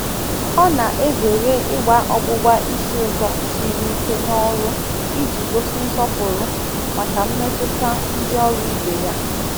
Ọ na-ezere igba ọgbụbá ísì ūtọ siri ike n’ọrụ iji gosi nsọpụrụ maka mmetụta ndị ọrụ ibe ya.